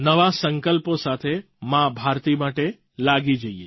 નવા સંકલ્પો સાથે મા ભારતી માટે લાગી જઈએ